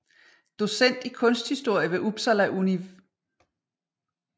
Docent i Kunsthistorie ved Upsala Univ